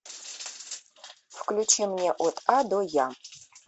включи мне от а до я